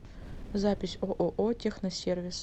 запись ооо техносервис